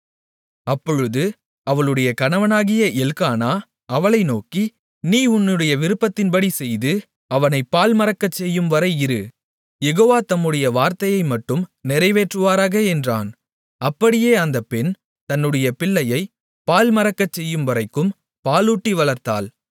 அப்பொழுது அவளுடைய கணவனாகிய எல்க்கானா அவளை நோக்கி நீ உன்னுடைய விருப்பத்தின்படி செய்து அவனை பால் மறக்கச்செய்யும்வரை இரு யெகோவா தம்முடைய வார்த்தையைமட்டும் நிறைவேற்றுவாராக என்றான் அப்படியே அந்தப் பெண் தன்னுடைய பிள்ளையைப் பால் மறக்கச்செய்யும்வரைக்கும் பாலூட்டி வளர்த்தாள்